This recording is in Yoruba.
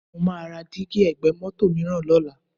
Mo máa ra dígí ẹ̀gbẹ́ mọ́tò mìíràn lọ́la